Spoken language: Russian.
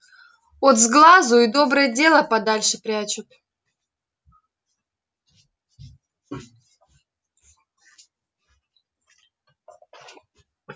от сглазу и доброе дело подальше прячут